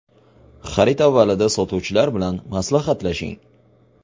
Xarid avvalida sotuvchilar bilan maslahatlashing.